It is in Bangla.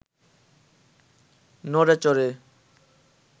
নড়ে চড়ে